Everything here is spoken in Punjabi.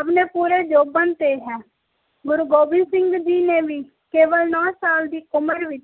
ਆਪਣੇ ਪੂਰੇ ਜੋਬਨ ਤੇ ਏ ਗੁਰੂ ਗੋਬਿੰਦ ਸਿੰਘ ਜੀ ਨੇ ਕੇਵਲ ਨਾਉ ਸਾਲ ਦੀ ਉਮਰ ਵਿਚ